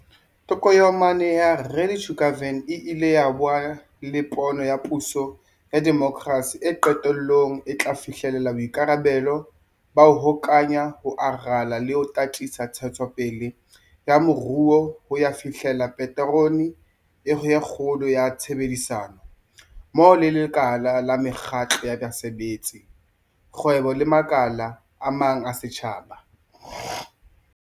Tokomane ya Ready to Govern e ile ya ba le pono ya puso ya demokrasi eo qetellong e tla fihlella boikarabelo ba 'ho hokahanya, ho rala le ho tataisa ntshetsopele ya moruo ho ya fihlella paterone ya kgolo ka tshebedisano mmoho le lekala la mekgatlo ya basebetsi, kgwebo le makala a mang a setjhaba.